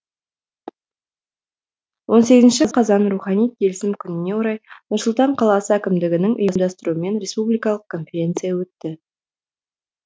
он сегізінші қазан рухани келісім күніне орай нұр сұлтан қаласы әкімдігінің ұйымдастыруымен республикалық конференция өтті